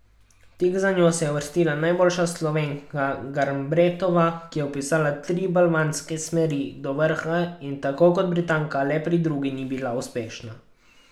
Tik za njo se je uvrstila najboljša Slovenka Garnbretova, ki je vpisala tri balvanske smeri do vrha, in tako kot Britanka le pri drugi ni bila uspešna.